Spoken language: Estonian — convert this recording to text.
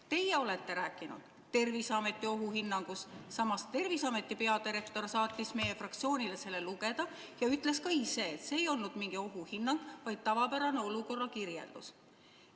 Teie olete rääkinud Terviseameti ohuhinnangust, samas Terviseameti peadirektor saatis selle meie fraktsioonile lugemiseks ja ütles, et see ei olnud mingi ohuhinnang, vaid tavapärane olukorra kirjeldus.